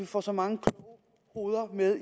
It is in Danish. får så mange kloge hoveder med